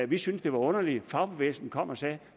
vi syntes det var underligt og fagbevægelsen kom og sagde